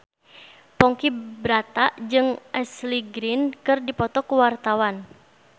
Ponky Brata jeung Ashley Greene keur dipoto ku wartawan